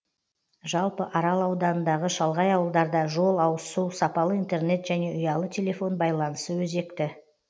жалпы арал ауданындағы шалғай ауылдарда жол ауызсу сапалы интернет және ұялы телефон байланысы өзекті